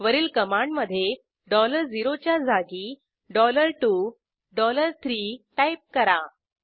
वरील कमांडमधे 0 च्या जागी 2 3 टाईप करा